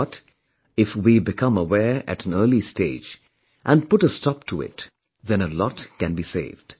But, if we become aware at an early stage and put a stop to it, then a lot can be saved